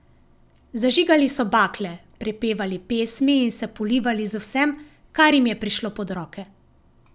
Zažigali so bakle, prepevali pesmi in se polivali z vsem, kar jim je prišlo pod roke.